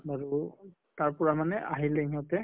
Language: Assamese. তাৰ পৰা মানে আহিলে ইহঁতে